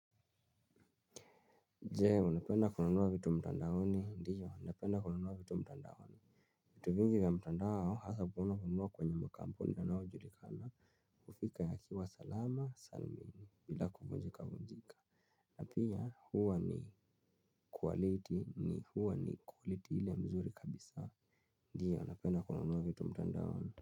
Jee, unapenda kunaunua vitu mtandaoni. Ndiyo, napenda kunaunua vitu mtandaoni. Vitu vingi vya mtandao hasa kuena kununua kwenye makampuni yanayo julikana. Kufika ya kiwa salama, salmini, bila kukunjika vunjika. Napia, huwa ni kualiti ni huwa ni kualiti ile mzuri kabisa. Ndiyo, unapenda kunaunuwa vitu mtandaoni.